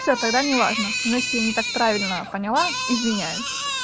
все тогда не важно значит я не так правильно поняла извиняюсь